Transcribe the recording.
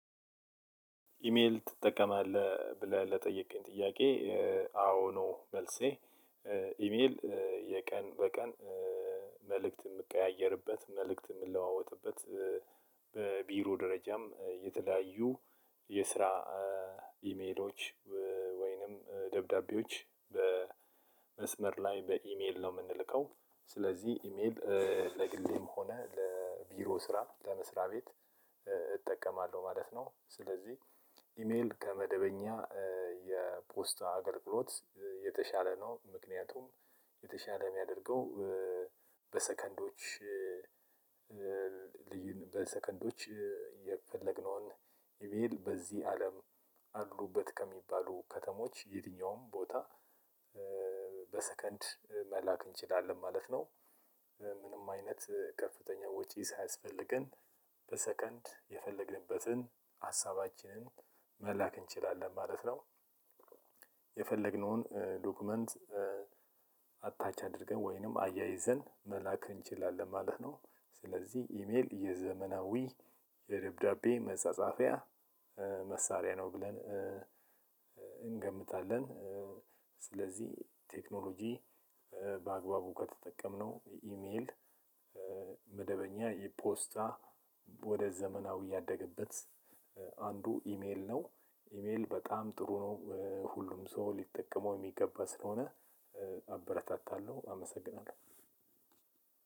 ኢሜል ትጠቀማለህ ብለህ ለጠየቅከኝ ጥያቄ? አዎ ነው መልሴ። ኢሜል የቀን በቀን መልእክት የምቀያየርበት መልእክት የምንለዋወጥበት በቢሮ ደረጃም የተለያዩ የስራ ኢሜሎች ወይንም ደብዳቤዎች በመስመር ላይ በኢሜል ነው የምንልከው። ስለዚህ ኢሜል ለግሌም ሆነ ለቢሮ ስራ ለመስሪያ ቤት እጠቀማለሁ ማለት ነው። ስለዚህ ኢሜል ከመደበኛ የፖስታ አገልግሎት የተሻለ ነው። ምክንያቱም የተሻለ የሚያደርገው በሰከንዶች ልዩን በሰከንዶች የፈለግነውን ኢሜል በዚህ አለም አሉበት ከሚባሉ ከተሞች የትኛውም ቦታ። በሰከንድ መላክ እንችላለን ማለት ነው። ምንም አይነት ከፍተኛ ወጪ ሳያስፈልገን በሰከንድ የፈለግንበትን ሀሳባችንን መላክ እንችላለን ማለት ነው። የፈለግነውን ዶክመንት አታች አድርገን ወይንም አያይዘን መላክ እንችላለን ማለት ነው። ስለዚህ ኢሜል የዘመናዊ የደብዳቤ መጻጻፊያ መሳሪያ ነው ብለን እንገምታለን። ስለዚህ ቴክኖሎጂ በአግባቡ ከተጠቀምነው ኢሜል መደበኛ የፖስታ ወደ ዘመናዊ ያደገበት አንዱ ኢሜል ነው። ኢሜል በጣም ጥሩ ነው ሁሉም ሰው ሊጠቀመው የሚገባ ስለሆነ አበረታታለሁ አመሰግናለሁ።